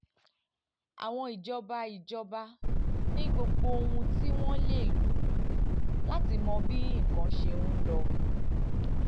àwọn ìjọba ìjọba ní gbogbo ohun tí wọ́n lè lò láti mọ bí nǹkan ṣe ń lọ